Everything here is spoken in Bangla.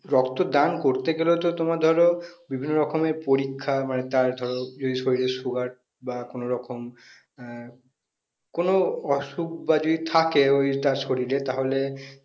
রক্তদান করতে গেলেও তো তোমার ধরো বিভিন্ন রকমের পরীক্ষা মানে তার ধরো যদি শরীরে sugar বা কোনরকম আহ কোন অসুখ বা যদি থাকে ওই তার শরীরে তাহলে